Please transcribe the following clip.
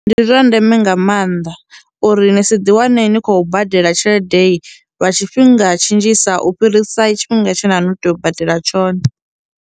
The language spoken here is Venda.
Ndi zwa ndeme nga maanḓa uri ni si ḓi wane ni khou badela tshelede lwa tshifhinga tshi nzhisa u fhirisa tshifhinga tshe na no tea u badela tshone.